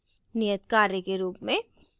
नियत कार्य के रूप में